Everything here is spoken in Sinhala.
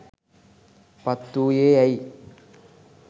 පත් වූයේ ඇයි?